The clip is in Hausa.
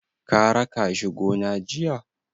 Ka raka shi gona jiya?